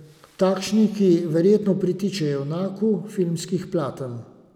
Takšni, ki verjetno pritiče junaku filmskih platen.